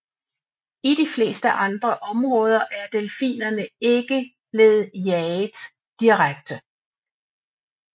I de fleste andre områder er delfinerne ikke blevet jaget direkte